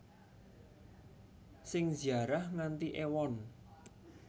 Sing ziarah nganti ewon